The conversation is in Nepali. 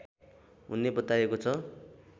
हुने बताइएको छ